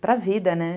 Para a vida, né?